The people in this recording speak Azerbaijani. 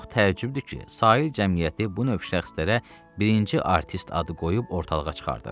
Çox təəccübdür ki, Sahil Cəmiyyəti bu növ şəxslərə birinci artist adı qoyub ortalığa çıxardır.